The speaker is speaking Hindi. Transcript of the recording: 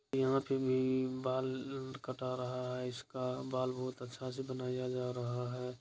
यहाँ पे भी बाल कटा रहा है इसका| बाल बहुत अच्छ से बनाया जा रहा है।